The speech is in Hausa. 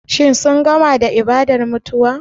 Shin sun gama da ibadar mutuwa?